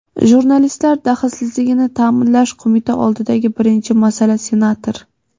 Jurnalistlar daxlsizligini ta’minlash Qo‘mita oldidagi birinchi masala — senator.